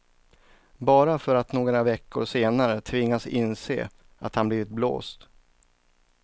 Bara för att några veckor senare tvingas inse att han blivit blåst.